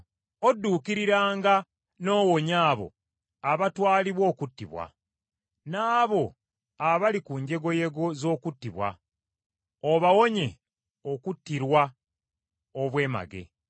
Odduukiriranga n’owonya abo abatwalibwa okuttibwa, n’abo abali ku njegoyego z’okuttibwa, obawonye okuttirwa obwemage.